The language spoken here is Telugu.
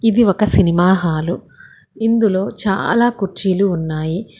ఇది ఒక సినిమా హాలు ఇందులో చాలా కుర్చీలు ఉన్నాయి.